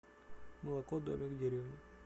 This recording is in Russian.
молоко домик в деревне